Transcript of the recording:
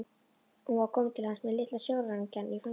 Hún var komin til hans með litla sjóræningjann í fanginu.